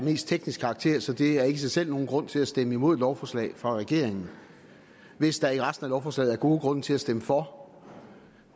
teknisk karakter så det er ikke i sig selv nogen grund til at stemme imod et lovforslag fra regeringen hvis der i resten af lovforslaget er gode grunde til at stemme for